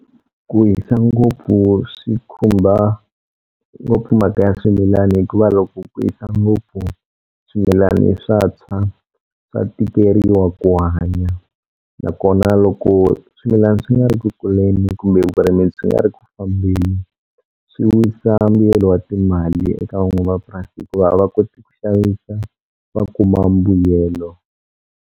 Ku hisa ngopfu swi khumba ngopfu mhaka ya swimilani hikuva loko ku hisa ngopfu swimilani swa tshwa swa tikeriwa ku hanya nakona loko swimilani swi nga ri ku kuleni kumbe vurimi swi nga ri ku fambeni swi wisa mbuyelo wa timali eka van'wamapurasi hikuva a va koti ku xavisa va kuma mbuyelo.